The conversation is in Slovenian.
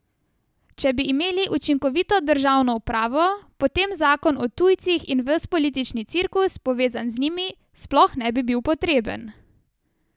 Če bi imeli učinkovito državno upravo, potem zakon o tujcih in ves politični cirkus, povezan z njim, sploh ne bi bil potreben.